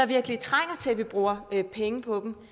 virkelig trænger til at vi bruger pengene på dem